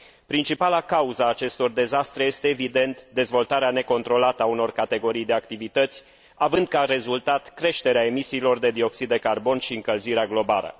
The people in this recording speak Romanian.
Principala cauză a acestor dezastre este evident dezvoltarea necontrolată a unor categorii de activități, având ca rezultat creșterea emisiilor de dioxid de carbon și încălzirea globală.